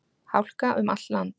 Hálka um allt land